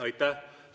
Aitäh!